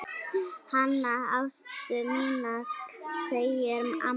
Hana Ástu mína segir amma.